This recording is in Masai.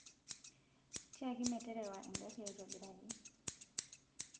tiaki meterewa engari aitobiraki